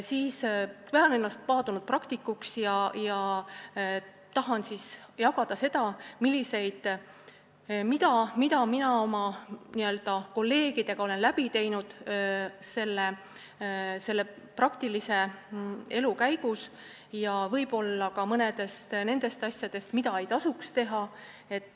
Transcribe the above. Ma pean ennast paadunud praktikuks ja tahan jagada seda, mida ma oma kolleegidega olen läbi teinud praktilise elu käigus, ja võib-olla räägin ka mõnest sellisest asjast, mida ei tasuks teha.